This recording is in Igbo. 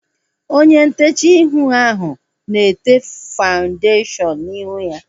Onye ntechaa ihu ahu na-ete fawundeshion n'ihu ya